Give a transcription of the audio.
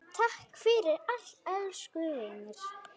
Takk fyrir allt, elsku vinur.